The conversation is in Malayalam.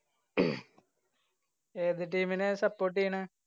ഏത് team നെയാ support ചെയ്യണ്?